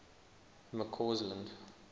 mccausland